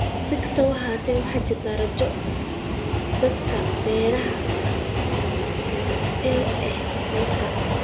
Si kastaba ha ahaatee, waxaa jirta rajo dhanka beeraha ah ee dalka.